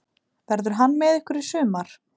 Verður hann með ykkur í sumar?